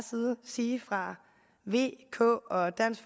sige fra v k og dansk